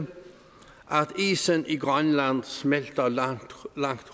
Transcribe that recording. isen i grønland smelter langt langt